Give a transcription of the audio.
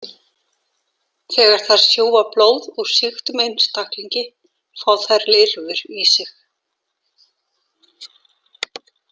Þegar þær sjúga blóð úr sýktum einstaklingi fá þær lirfur í sig.